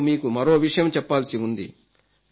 నేను మీకు మరో విషయం చెప్పాల్సి ఉంది